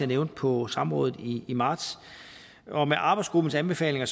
nævnte på samrådet i marts og med arbejdsgruppens anbefalinger